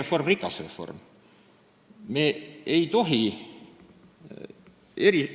Kindlasti peab riigireform olema rikas reform.